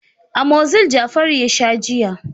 Amozil yJafaru a sha jiya.